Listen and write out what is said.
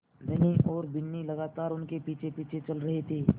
धनी और बिन्नी लगातार उनके पीछेपीछे चल रहे थे